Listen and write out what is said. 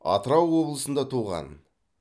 атырау облысында туған